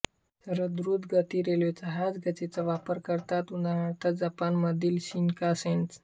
सर्व द्रुतगती रेल्वे ह्याच गेजचा वापर करतात उदा जपानमधील शिनकान्सेन